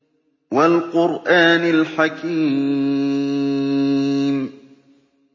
وَالْقُرْآنِ الْحَكِيمِ